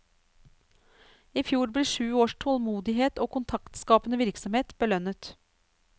I fjor ble sju års tålmodighet og kontaktskapende virksomhet belønnet.